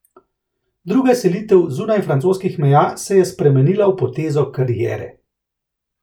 Druga selitev zunaj francoskih meja se je spremenila v potezo kariere.